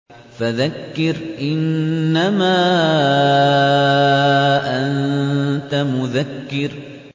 فَذَكِّرْ إِنَّمَا أَنتَ مُذَكِّرٌ